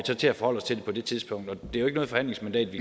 så til at forholde os til det på det tidspunkt det jo ikke et forhandlingsmandat